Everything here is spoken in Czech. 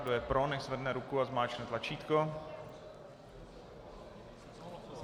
Kdo je pro, nechť zvedne ruku a zmáčkne tlačítko.